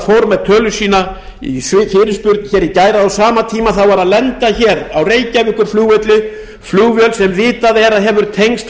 með tölu sína í fyrirspurnatíma í gær að á sama tíma lenti á reykjavíkurflugvelli flugvél sem vitað er að hefur tengst